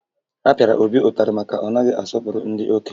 A pịara Obi ụtarị maka na ọ naghị asọpụrụ ndị okenye